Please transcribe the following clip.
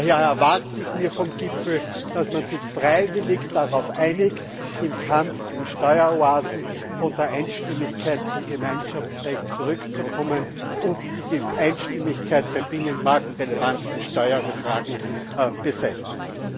Daher erwarte ich mir vom Gipfel, dass man sich freiwillig darauf einigt, im Kampf gegen Steueroasen von der Einstimmigkeit zum Gemeinschaftsrecht zu wechseln, und die Einstimmigkeit bei binnenmarktrelevanten Steuerfragen beseitigt.